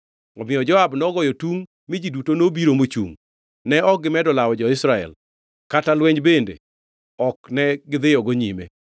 Omiyo Joab nogoyo tungʼ mi ji duto nobiro mochungʼ, ne ok gimedo lawo jo-Israel, kata lweny bende ok ne gidhiyogo nyime.